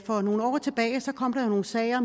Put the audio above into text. for nogle år tilbage kom der nogle sager